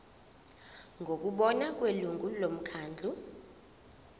ngokubona kwelungu lomkhandlu